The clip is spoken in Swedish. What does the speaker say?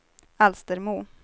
Alstermo